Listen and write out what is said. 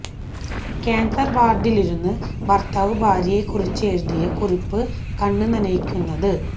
cancer വാര്ഡിലിരുന്ന് ഭര്ത്താവ് ഭാര്യയെ കുറിച്ച് എഴുതിയ കുറിപ്പ് കണ്ണ് നനയിക്കുന്നത്